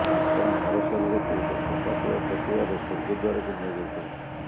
ତାଙ୍କର ମର ଶରୀରକୁ ଏକ ଶୋକାକୁଳ ପଟ୍ଟୁଆରରେ ସ୍ୱର୍ଗଦ୍ୱାର କୁ ନିଆଯାଇଥିଲା